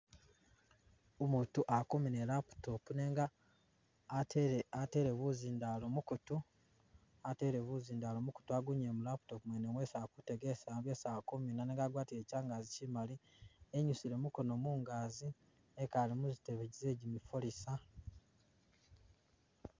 Umutu akumiina i'laptop nenga atele atele buzindalo mukutu, atele buzindalo mukutu agunyile mu laptop mwene mwesi akutegelesila byesi akumiina nenga agwatile kyangazi kyimali, enyusile mukono mungazi ekale muzitebe ze gyimifalisa